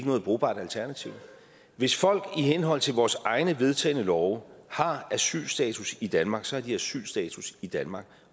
noget brugbart alternativ hvis folk i henhold til vores egne vedtagne love har asylstatus i danmark så har de asylstatus i danmark